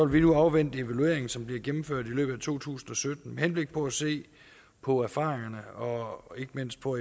vi nu afvente evalueringen som bliver gennemført i løbet af to tusind og sytten med henblik på at se på erfaringerne og ikke mindst på